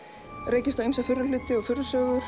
rekist á ýmsa furðuhluti og